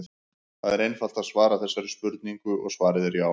Það er einfalt að svara þessari spurningu og svarið er já!